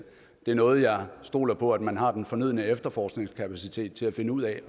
er noget jeg stoler på at man har den fornødne efterforskningskapacitet til at finde ud af